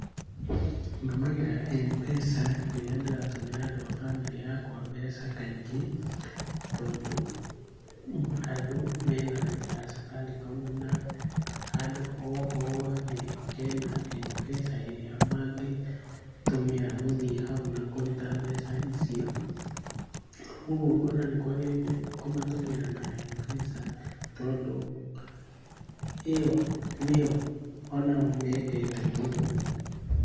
Ndũmagĩra M-pesa rĩrĩa ndĩratũmĩra andũ a bamĩrĩ yakwa mbeca kaingĩ, tondũ andũ mena raini ya Safaricom na handũ ho hothe hena M-pesa ĩrĩa mangĩtũmĩra gũthiĩ hau na kũruta mbeca icio, ũguo ngona nĩ kwagĩrĩire kũmatũmĩra na M-pesa tondũ ĩyo nĩyo o nao mendete mũno.